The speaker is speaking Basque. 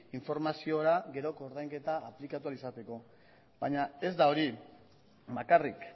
informazioa gero koordainketa aplikatu ahal izateko baina ez da hori bakarrik